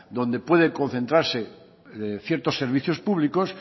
donde puede concentrarse ciertos servicios públicos